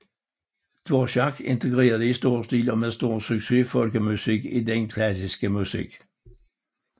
Dvořák integrerede i stor stil og med stor succes folkemusik i den klassiske musik